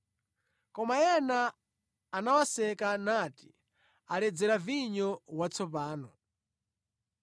Koma ena anawaseka nati, “Aledzera vinyo watsopano.”